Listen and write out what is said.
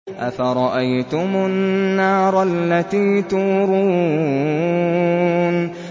أَفَرَأَيْتُمُ النَّارَ الَّتِي تُورُونَ